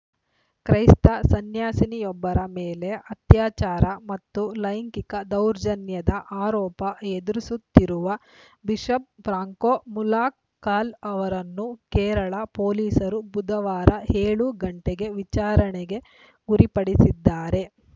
ಕ್ರೈಸ್ತ ಸನ್ಯಾಸಿನಿಯೊಬ್ಬರ ಮೇಲೆ ಅತ್ಯಾಚಾರ ಮತ್ತು ಲೈಂಗಿಕ ದೌರ್ಜನ್ಯದ ಆರೋಪ ಎದುರಿಸುತ್ತಿರುವ ಬಿಷಪ್‌ ಫ್ರಾಂಕೊ ಮುಲಕ್ಕಲ್‌ ಅವರನ್ನು ಕೇರಳ ಪೊಲೀಸರು ಬುಧವಾರ ಏಳು ಗಂಟೆ ವಿಚಾರಣೆಗೆ ಗುರಿಪಡಿಸಿದ್ದಾರೆ